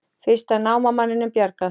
Fyrsta námamanninum bjargað